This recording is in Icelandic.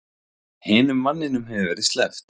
Hinum manninum hefur verið sleppt